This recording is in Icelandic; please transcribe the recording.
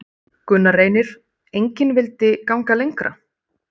Gunnar Reynir: Engin vildi ganga lengra?